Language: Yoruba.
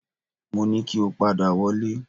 Mo ní kí o padà wọlé